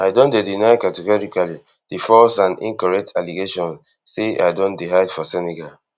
i don deny categorically di false and incorrect allegations say i don dey hide for senegal